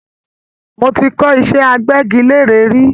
Mo ti kọ́ ìṣẹ́ agbẹ́gilére rí